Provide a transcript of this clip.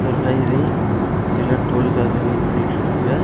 ஒரு ஹைவே எல்லா டோல்லுக்காக வெயிட் பண்ணிட்ருகாங்க.